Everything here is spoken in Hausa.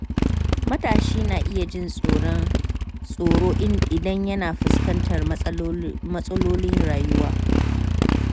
Matashi na iya jin tsoro idan yana fuskantar matsalolin rayuwa.